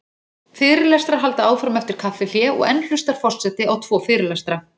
Fyrirlestrar halda áfram eftir kaffihlé og enn hlustar forseti á tvo fyrirlestra.